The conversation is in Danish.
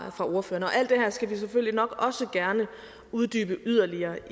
ordførerne alt det her skal vi selvfølgelig nok også gerne uddybe yderligere